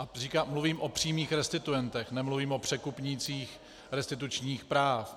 A mluvím o přímých restituentech, nemluvím o překupnících restitučních práv.